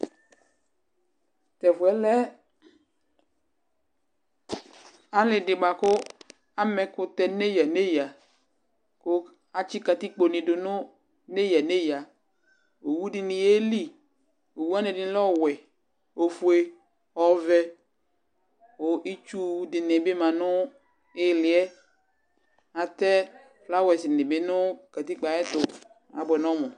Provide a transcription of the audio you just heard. to ɛfoɛ lɛ ale di boa ko ama ɛkotɛ no eya neya ko atsi katikpo ni do no eya neya owu di ni yeli owu wani ɛdi lɛ ɔwɛ ofue ɔvɛ ko itsu di ni bi ma no iliɛ atɛ flawɛs ni bi no katikpoɛ ayɛto aboɛ nɔmò